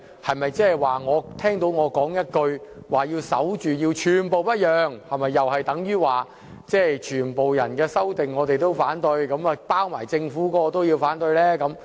他表示聽到我說"要守住，寸步不讓"，是否等於我會反對所有修正案，包括政府提出的修正案。